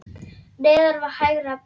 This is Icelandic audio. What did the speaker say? Neðan við hægra brjóst.